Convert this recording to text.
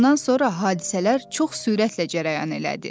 Bundan sonra hadisələr çox sürətlə cərəyan elədi.